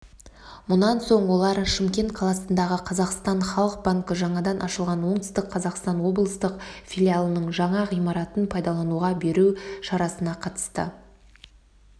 мұнан соң олар шымкент қаласындағы қазақстан халық банкі жаңадан ашылған оңтүстік қазақстан облыстық филиалының жаңа ғимаратын пайдалануға беру шарасына қатысты